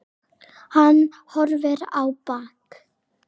Hann horfir á bak